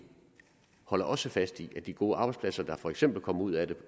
holder også fast i de gode arbejdspladser der for eksempel kom ud af det